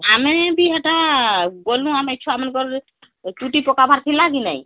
ଆମେ ବି ହେଟା ଗ୍ନୁ ଆମେ ଛୁଆ ମାନଙ୍କର ଚୁଟି ପକାବାର ଥିଲା କି ନାଇଁ